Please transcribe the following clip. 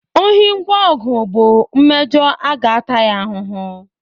Ohi ngwa ọgụ bụ mmejọ a ga-ata ya ahụhụ